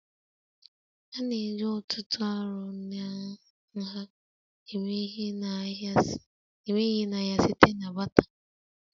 A na-eji ọ̀tụ̀tụ̀ arọ na nha eme ihe n'ahịa site na batter